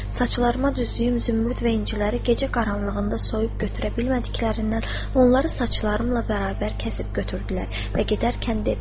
Saçlarıma düzdüyüm zümrüd və inciləri gecə qaranlığında soyub götürə bilmədiklərindən onları saçlarımla bərabər kəsib götürdülər və gedərkən dedilər: